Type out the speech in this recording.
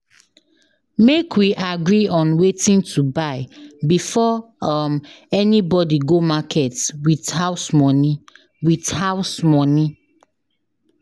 Make we agree on wetin to buy before um anybody go market with house money. with house money.